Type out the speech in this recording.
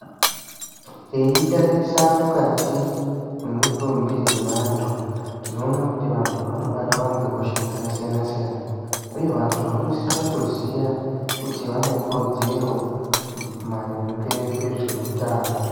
Teitatarisa mukati memutumbi zevanhu tinoona kuti vantu vanobatwa ngehosha dzakasiyana uye vantu vanosisira kuziva .kuti vanekodzero kuzivaarimge ngezveutano